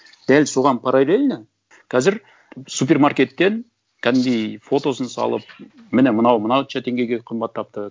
дәл соған параллельно қазір супермаркеттен кәдімгідей фотосын салып міні мынау мынауынша теңгеге қымбаттапты